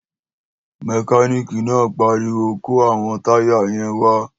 Mẹkánìkì náà pariwo kó àwọn táyà yẹn wá!